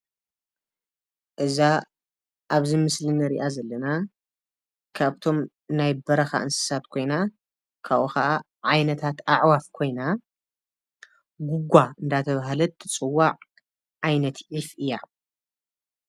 እዛ ኣብዚ ምስሊ እንሪኣ ዘለና ካብቶም ናይ በረኻ እንስሳት ኮይና ካብኡ ኸዓ ዓይነታት ኣዕዋፍ ኮይና ጉጓ እንዳተባሃለት እትፅዋዕ ዓይነት ዒፍ እያ፡፡